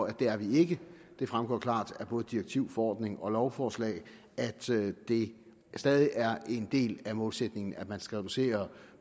at det er vi ikke det fremgår klart af både direktiv forordning og lovforslag at det stadig er en del af målsætningen at man skal reducere